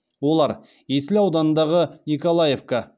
олар есіл ауданындағы николаевка